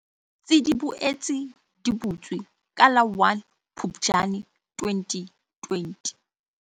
Tsi di boetse di butswe ka la 1 Phuptjane 2020.